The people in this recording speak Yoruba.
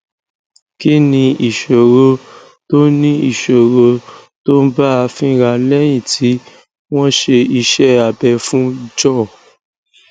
kí ni ìṣòro tó ni ìṣòro tó ń bá a fínra léyìn tí wón ṣe iṣé abẹ fún jaw